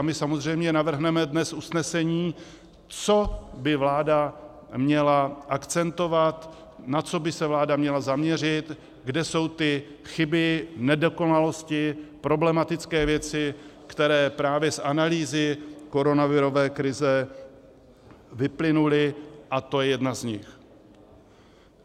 A my samozřejmě navrhneme dnes usnesení, co by vláda měla akcentovat, na co by se vláda měla zaměřit, kde jsou ty chyby, nedokonalosti, problematické věci, které právě z analýzy koronavirové krize vyplynuly, a tohle je jedna z nich.